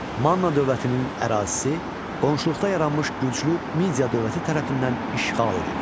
Manna dövlətinin ərazisi qonşuluqda yaranmış güclü Midiya dövləti tərəfindən işğal edildi.